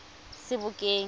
sebokeng